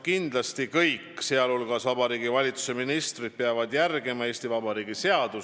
Kindlasti kõik, sh Vabariigi Valitsuse ministrid, peavad järgima Eesti Vabariigi seadusi.